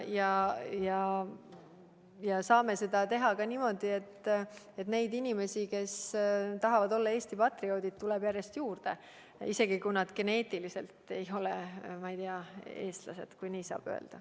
Ja me saame seda teha ka niimoodi, et neid inimesi, kes tahavad olla Eesti patrioodid, tuleb järjest juurde, isegi kui nad geneetiliselt ei ole, ma ei tea, eestlased, kui nii saab öelda.